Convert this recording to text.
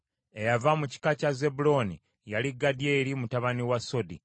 Eyava mu kika kya Zebbulooni yali Gadyeri mutabani wa Sodi.